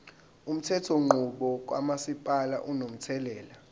umthethonqubo kamasipala unomthelela